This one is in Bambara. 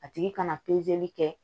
A tigi kana kɛ